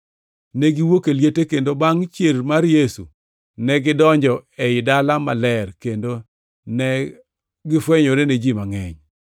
Ne giwuok e liete, kendo bangʼ chier mar Yesu, negidonjo ei Dala Maler kendo ne gifwenyore ne ji mangʼeny.